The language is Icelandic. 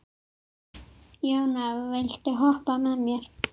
Jóna, viltu hoppa með mér?